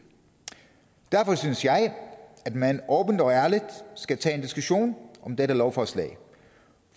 derfor synes jeg at man åbent og ærligt skal tage en diskussion om dette lovforslag